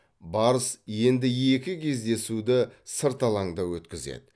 барыс енді екі кездесуді сырт алаңда өткізеді